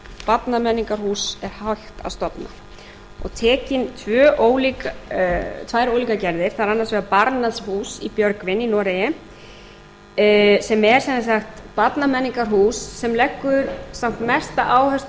barnamenningarhús er hægt að stofna og teknar tvær ólíkar gerðir það er annars vegar barnas hus í björgvin í noregi sem er sem sagt barnamenningarhús sem leggur samt mesta áherslu á